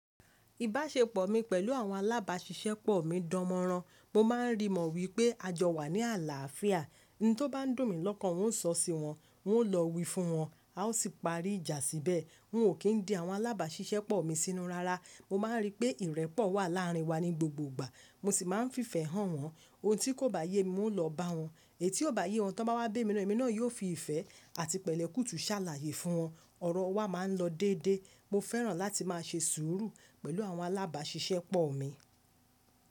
Ìbáṣepọ̀ mi pẹ̀lú àwọn alábàáṣiṣẹ́ pọ̀ mi dánmọ́rán. Mo máa ń rí mọ̀ wípé a jọ wà ní àlàáfíà. Ohun tó bá dùn mí lọ́kàn, n óò sọ sí wọn, n óò lọ wí fún wọn, a ó sì parí ìjà síbẹ̀. Wọ́n ò kí ń dí àwọn alábáṣiṣẹ́ pọ̀ mi sínú rara. Mo má ń rí pé ìrẹ́pọ̀ wà láàrin wa ní gbogbo ìgbà, mo sì má ń fífẹ́ hàn wọ́n. Ohun tí kò bá yé mi, n óò lọ bá wọn. Èyí tí ò bá yé wọn tí wọ́n bá wá bé mi lọ́wọ́, èmi náà yóò fi ìfẹ́ àti pẹ̀lẹ́kútu sàlàyé fún wọn. Ọ̀rọ̀ wa má ń lọ dédé. Mo fẹ́ràn láti má ṣe sùúrù pẹ̀lú àwọn alábáṣiṣẹ́ pọ̀ mi.